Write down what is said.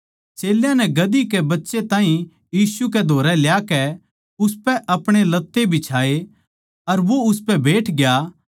चेल्यां नै गधी कै बच्चे ताहीं यीशु कै धोरै ल्याकै उसपै आपणे लत्ते बिछाये अर वो उसपै बैठग्या